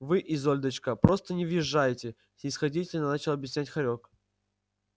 вы изольдочка просто не въезжаете снисходительно начал объяснять хорёк